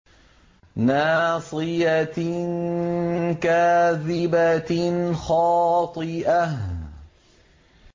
نَاصِيَةٍ كَاذِبَةٍ خَاطِئَةٍ